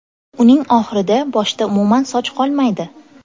Uning oxirida boshda umuman soch qolmaydi.